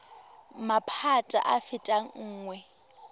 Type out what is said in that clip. maphata a a fetang nngwe